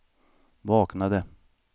vaknade